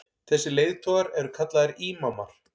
þessir leiðtogar eru kallaðir ímamar